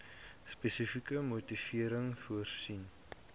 spesifieke motivering voorsien